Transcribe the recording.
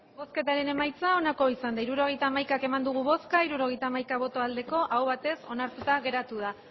hirurogeita hamaika eman dugu bozka hirurogeita hamaika bai aho batez onartuta geratu da